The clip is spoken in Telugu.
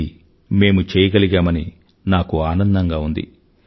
ఇది మేము చెయగలిగామని నాకు ఆనందంగా ఉంది